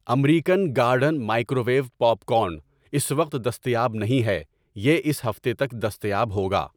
American garden microwave popcorn اس وقت دستیاب نہیں ہے، یہ اس ہفتے تک دستیاب ہوگا۔